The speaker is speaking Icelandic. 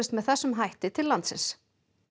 með þessum hætti til landsins